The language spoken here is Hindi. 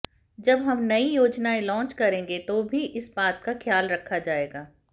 जब हम नई योजनाएं लॉन्च करेंगे तो भी इस बात का खयाल रखा जाएगा